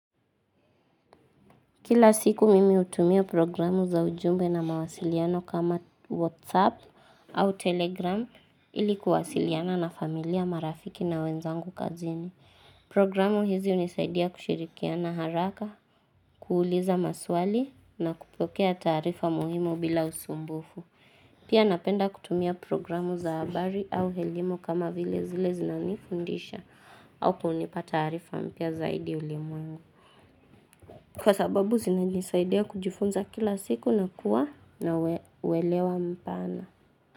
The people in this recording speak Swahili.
Kila siku mimi utumia programu za ujumbe na mawasiliano kama WhatsApp au Telegram ilikuwasiliana na familia marafiki na wenzangu kazini. Programu hizi unisaidia kushirikia na haraka, kuuliza maswali na kupokea tarifa muhimu bila usumbufu. Pia napenda kutumia programu za abari au helimo kama vile zile zinani kundisha au kuhunipa tarifa mpya zaidi ulimu. Kwa sababu zina nisaidea kujifunza kila siku na kuwa na welewa mpana.